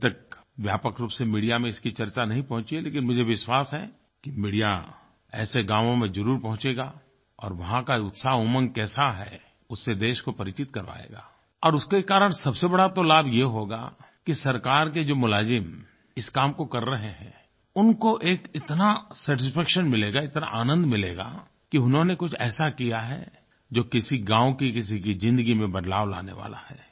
अभी तक व्यापक रूप से मीडिया में इसकी चर्चा नहीं पहुँची है लेकिन मुझे विश्वास है कि मीडिया ऐसे गांवों में ज़रूर पहुंचेगा और वहाँ का उत्साहउमंग कैसा है उससे देश को परिचित करवाएगा और उसके कारण सबसे बड़ा तो लाभ ये होगा कि सरकार के जो मुलाज़िम इस काम को कर रहे हैं उनको एक इतना सैटिस्फैक्शन मिलेगा इतना आनंद मिलेगा कि उन्होंने कुछ ऐसा किया है जो किसी गाँव की किसी की ज़िंदगी में बदलाव लाने वाला है